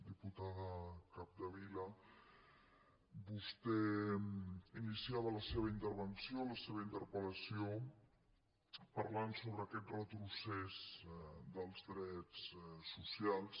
diputada capdevila vostè iniciava la seva intervenció la seva interpellació parlant sobre aquest retrocés dels drets socials